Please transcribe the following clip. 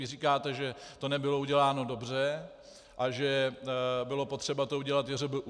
Vy říkáte, že to nebylo uděláno dobře a že bylo potřeba to udělat JŘBU.